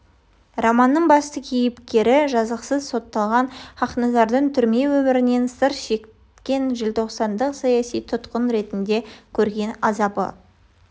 романның басты кейіпкері жазықсыз сотталған хақназардың түрме өмірінен сыр шерткен желтоқсандық саяси тұтқын ретінде көрген азабы